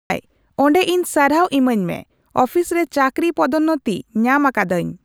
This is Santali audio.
ᱦᱟᱭ ᱚᱰᱮ ᱤᱧ ᱥᱟᱨᱦᱟᱣ ᱮᱢᱟᱹᱧ ᱢᱮ ᱟᱹᱯᱷᱤᱥ ᱨᱮ ᱪᱟᱠᱨᱤ ᱯᱫᱳᱱᱚᱛᱤ ᱧᱟᱢ ᱟᱠᱟᱫᱟᱹᱧ